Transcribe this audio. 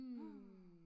Hm